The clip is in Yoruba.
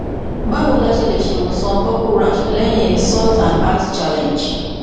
bawo ni a ṣe le ṣe iwosan purple rash lẹhin salt and ice challenge